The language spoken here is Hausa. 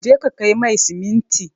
Je ka kai mai siminti!